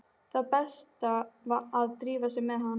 Það var best að drífa sig með hann.